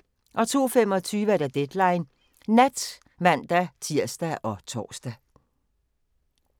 02:25: Deadline Nat (man-tir og tor)